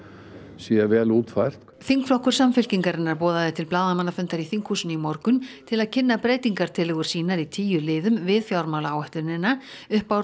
sé vel útfært þingflokkur Samfylkingarinnar boðaði til blaðamannafundar í þinghúsinu í morgun til að kynna breytingartillögur sínar í tíu liðum við fjármálaáætlunina upp á